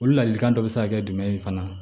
Olu ladilikan dɔ be se ka kɛ jumɛn ye fana